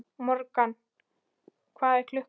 Morgan, hvað er klukkan?